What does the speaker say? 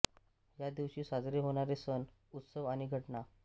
या दिवशी साजरे होणारे सण उत्सव आणि घटना